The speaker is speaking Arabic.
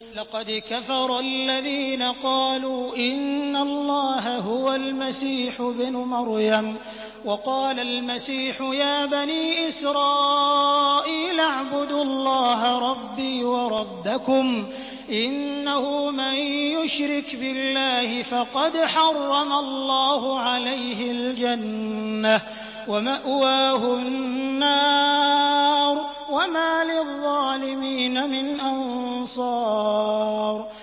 لَقَدْ كَفَرَ الَّذِينَ قَالُوا إِنَّ اللَّهَ هُوَ الْمَسِيحُ ابْنُ مَرْيَمَ ۖ وَقَالَ الْمَسِيحُ يَا بَنِي إِسْرَائِيلَ اعْبُدُوا اللَّهَ رَبِّي وَرَبَّكُمْ ۖ إِنَّهُ مَن يُشْرِكْ بِاللَّهِ فَقَدْ حَرَّمَ اللَّهُ عَلَيْهِ الْجَنَّةَ وَمَأْوَاهُ النَّارُ ۖ وَمَا لِلظَّالِمِينَ مِنْ أَنصَارٍ